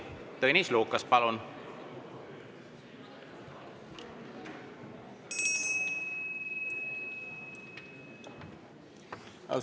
Tõnis Lukas, palun!